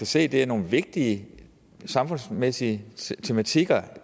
se er nogle vigtige samfundsmæssige tematikker